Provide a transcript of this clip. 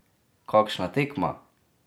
Kakšna tekma!